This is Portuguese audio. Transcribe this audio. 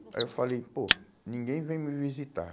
Aí eu falei, pô, ninguém vem me visitar.